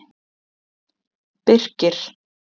Birkir